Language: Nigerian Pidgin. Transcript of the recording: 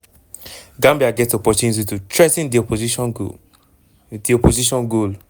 gambia get opportunity to threa ten di opposition goal. di opposition goal.